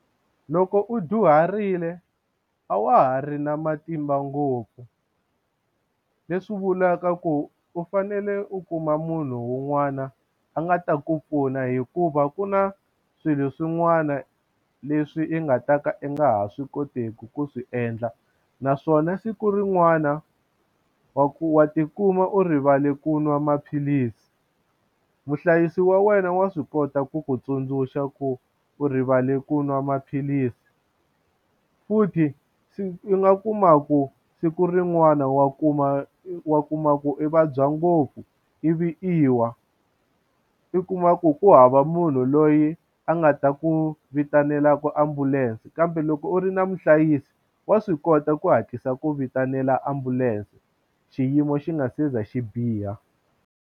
Loko u dyuharile a wa ha ri na matimba ngopfu leswi vulaka ku u fanele u kuma munhu un'wana a nga ta ku pfuna hikuva ku na swilo swin'wana leswi i nga ta ka i nga ha swi koteki ku swi endla naswona siku rin'wana wa ku wa tikuma u rivale ku nwa maphilisi muhlayisi wa wena wa swi kota ku ku tsundzuxa ku u rivale ku nwa maphilisi u futhi i nga kumaku siku rin'wana wa kuma wa kuma ku i vabya ngopfu ivi i wa i kuma ku ku hava munhu loyi yi a nga ta ku vitanela ku ambulense kambe loko u ri na muhlayisi wa swi kota ku hatlisa ku vitanela ambulense xiyimo xi nga se za xi biha.